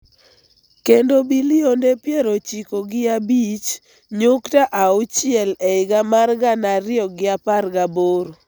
kendo bilionde piero ochiko gi abich nyukta auchiel e higa mar gana ariyo gi apar gi aboro.